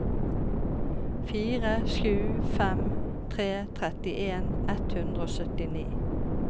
fire sju fem tre trettien ett hundre og syttini